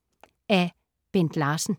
Af Bent Larsen